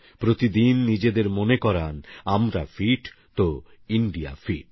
প্রতিদিন নিজেদের মনে করান আমরা ফিট তো ইন্ডিয়া ফিট